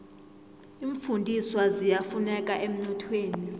iimfundiswa ziyafuneka emnothweni